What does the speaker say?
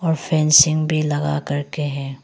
और फेंसिंग भी लगा कर के है।